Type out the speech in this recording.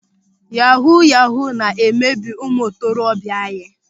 Yahuu yahuu na-emebi ụmụ ntorobịa anyị.